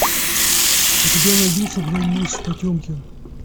у тебя найдется броненосец потемкин